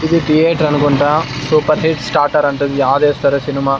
ఇది థియేటరనుకుంటా super hit starter అంటిది ఇది అధేశ్వర సినిమా .